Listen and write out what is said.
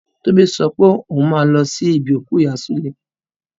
Tómi sopé òhun máa lo sí ibi òkú ìyá súlè.